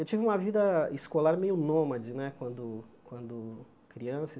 Eu tive uma vida escolar meio nômade né quando quando criança.